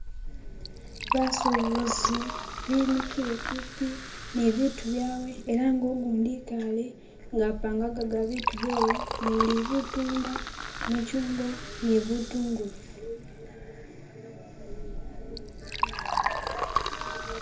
Basubuzi bimikile kumpi nibintu byawe ela nga ugundi ikaale nga apangaga ibintu byewe muli butunda, gimichungwa ni bitungulu